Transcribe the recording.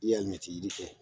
I ye alimɛtiyiri kɛ